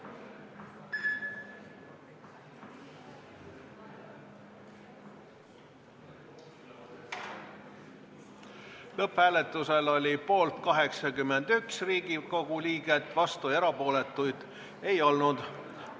Hääletustulemused Lõpphääletusel oli poolt 81 Riigikogu liiget, vastuolijaid ega erapooletuid ei olnud.